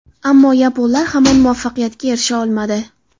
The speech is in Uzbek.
Ammo yaponlar hamon muvaffaqiyatga erisha olmadi.